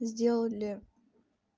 сделали